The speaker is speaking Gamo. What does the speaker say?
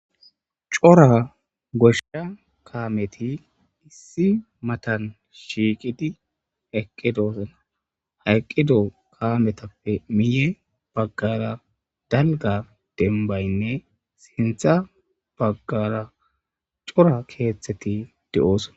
cora goshsha kaameti issi matan shiiqidi eqqidosona ha eqqido kaametappe miye baggara dalga dembaynne sintha baggara cora keeththeti de7oosona